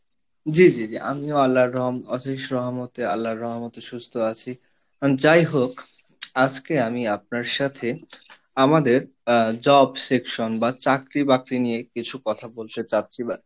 জি জি জি, আমিও আল্লাহর রহ, অশেষ রহমতে, আল্লাহর রহমতে সুস্থ আছি, যাই হোক আজকে আমি আপনার সাথে আমাদের Job Section বা চাকরি বাকরি নিয়ে কিছু কথা বলতে যাচ্ছি বা,